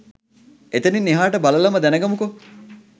එතනින් එහාට බලලම දැනගමුකෝ